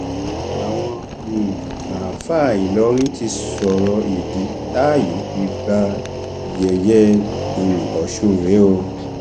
àwọn um àáfàá ìlọrin ti sọrọ ìdí táàyè fi gba yẹyẹ um ọsùn rèé o